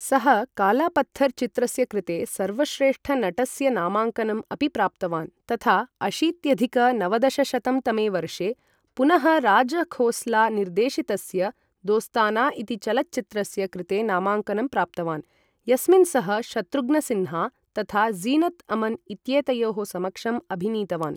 सः कालापत्थर् चित्रस्य कृते सर्वश्रेष्ठनटस्य नामाङ्कनम् अपि प्राप्तवान् तथा अशीत्यधिक नवदशशतं तमे वर्षे पुनः राजखोस्ला निर्देशितस्य दोस्ताना इति चलच्चित्रस्य कृते नामाङ्कनं प्राप्तवान्, यस्मिन् सः शत्रुघ्नसिन्हा तथा ज़ीनत् अमन् इत्येतयोः समक्षम् अभिनीतवान्।